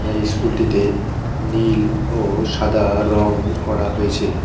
এই ইস্কুল -টিতে নীল ও সাদা রং করা হয়েছে।